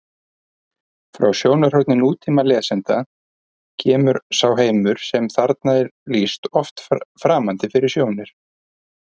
Frá sjónarhorni nútímalesanda kemur sá heimur sem þarna er lýst oft framandi fyrir sjónir: